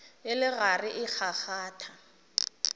e le gare e kgakgatha